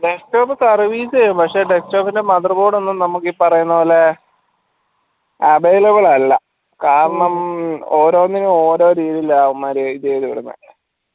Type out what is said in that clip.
desktop service ചെയ്യും പക്ഷെ desktop ന്റെ mother board ഒന്നും നമ്മക്ക് ഈ പറയുന്ന പോലെ available അല്ല കാരണം ഓരോന്നിനും ഓരോ രീതിയിലാ അവന്മാര് ഇതെയ്തിടുന്നെ